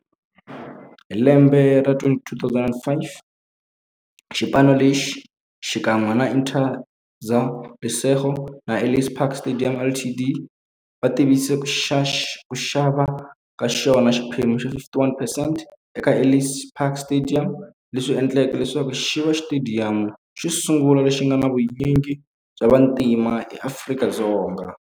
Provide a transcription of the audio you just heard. Hi lembe ra 2005, xipano lexi, xikan'we na Interza Lesego na Ellis Park Stadium Ltd, va tivise ku xava ka xona xiphemu xa 51 percent eka Ellis Park Stadium, leswi endleke leswaku xiva xitediyamu xosungula lexi nga na vunyingi bya vantima e Afrika-Dzonga.